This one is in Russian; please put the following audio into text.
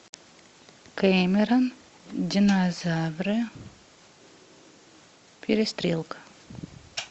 кэмерон динозавры перестрелка